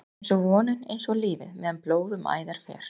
einsog vonin, einsog lífið- meðan blóð um æðar fer.